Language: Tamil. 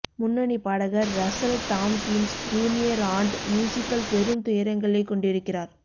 முன்னணி பாடகர் ரஸ்ஸல் தாம்ப்கின்ஸ் ஜூனியர் ஆன்ட் மியூசிக்கில் பெரும் துயரங்களைக் கொண்டிருக்கிறார்